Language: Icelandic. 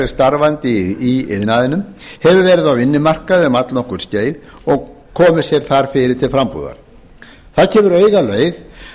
starfandi í iðnaðinum hefur verið á vinnumarkaði um allnokkurt skeið og komið sér þar fyrir til frambúðar það gefur augaleið